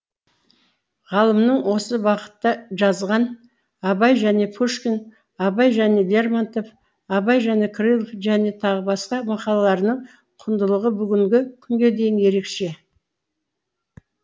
ғалымның осы бағытта жазған абай және пушкин абай және лермонтов абай және крылов және т б мақалаларының құндылығы бүгінгі күнге дейін ерекше